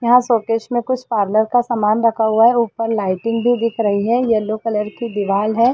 यहाँ शोकेस में कुछ पार्लर का सामान रखा हुआ है ऊपर लाइटिंग भी दिख रही है येलो कलर की दीवाल है।